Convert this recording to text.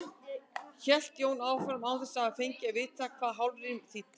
hélt Jón áfram, án þess að hafa fengið að vita hvað hálfrím þýddi.